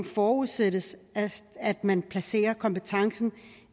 forudsættes at man placerer kompetencen